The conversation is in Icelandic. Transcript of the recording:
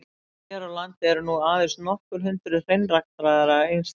Hér á landi eru nú aðeins nokkur hundruð hreinræktaðra einstaklinga.